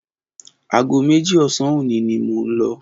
Aago méjì ọ̀sán òní ni mò ń lọ.